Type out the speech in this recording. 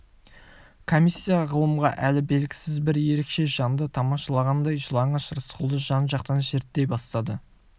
комиссия ғылымға әлі белгісіз бір ерекше жанды тамашалағандай жалаңаш рысқұлды жан-жақтан зерттей бастады